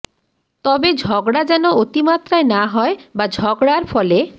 তবে ঝগড়া যেন অতিমাত্রায় না হয় বা ঝগড়ার ফলে